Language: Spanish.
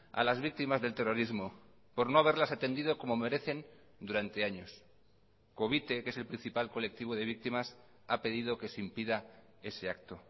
a las víctimas del terrorismo por no haberlas atendido como merecen durante años covite que es el principal colectivo de víctimas ha pedido que se impida ese acto